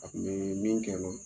A tun bɛɛ min kɛ l'o